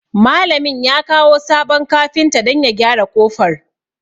Malamin ya kawo sabon kafinta don ya gyara ƙofar.